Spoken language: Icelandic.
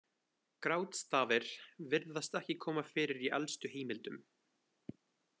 Grátstafir virðist ekki koma fyrir í elstu heimildum.